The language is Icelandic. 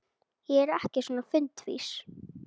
Ég er ekki svo fundvís